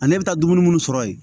Ani ne bɛ taa dumuni minnu sɔrɔ yen